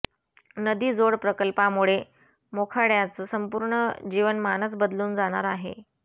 नदी जोड प्रकल्पामुळे मोखाड्याचं संपूर्ण जीवनमानच बदलून जाणार आहे